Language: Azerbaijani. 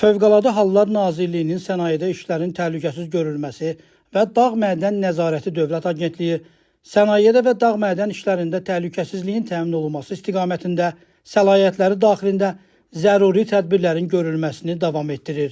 Fövqəladə Hallar Nazirliyinin Sənayedə İşlərin Təhlükəsiz Görülməsi və Dağ Mədən Nəzarəti Dövlət Agentliyi sənayedə və dağ-mədən işlərində təhlükəsizliyin təmin olunması istiqamətində səlahiyyətləri daxilində zəruri tədbirlərin görülməsini davam etdirir.